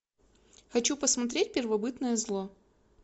хочу посмотреть первобытное зло